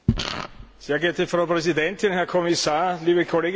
Frau Präsidentin, Herr Kommissar, liebe Kolleginnen und Kollegen!